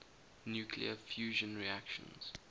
nuclear fusion reactions